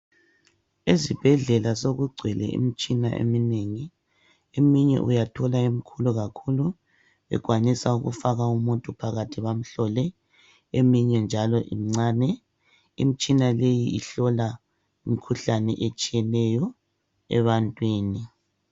Ezibhedlela sekugcwele imitshina eminengi, eminye uyathola imkhulu kakhulu ikwanisa ukufaka umuntu phakathi bamhlole eminye njalo imncane. Imitshina leyi ihlola imikhuhlane etshiyeneyo ebantwini.